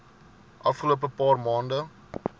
afgelope paar maande